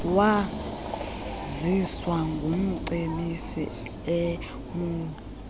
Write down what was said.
waziswa ngumcebisi emou